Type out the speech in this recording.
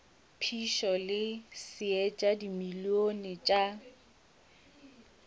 phišo le seetša dimilione tša